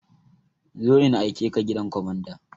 Zo in aikeka gidan kwamanda!